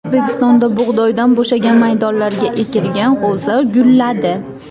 O‘zbekistonda bug‘doydan bo‘shagan maydonlarga ekilgan g‘o‘za gulladi.